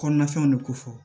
Kɔnɔnafɛnw de kofɔ